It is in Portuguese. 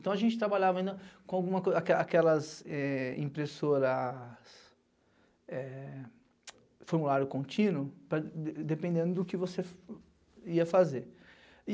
Então, a gente trabalhava ainda com aquelas impressoras, formulário contínuo, dependendo do que você ia fazer.